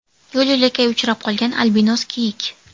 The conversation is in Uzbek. Yo‘l-yo‘lakay uchrab qolgan albinos kiyik.